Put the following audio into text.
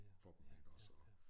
For dem ikke også og